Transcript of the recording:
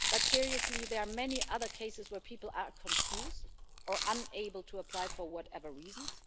But, seriously, there are many other cases where people are confused or unable to apply for whatever reasons.